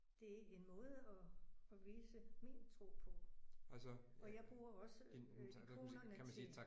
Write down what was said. Det en måde at at vise min tro på og jeg bruger også ikonerne til